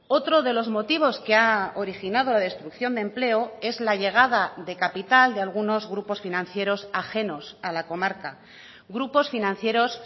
otro de los motivos que ha originado la destrucción de empleo es la llegada de capital de algunos grupos financieros ajenos a la comarca grupos financieros